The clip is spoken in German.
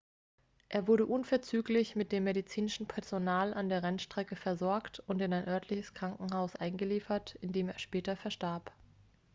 er wurde unverzüglich von dem medizinischen personal an der rennstrecke versorgt und in ein örtliches krankenhaus eingeliefert in dem er später verstarb